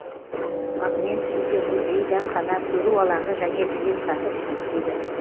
монумент ішінде музей дәмхана көру алаңы және жеделсаты жұмыс істейді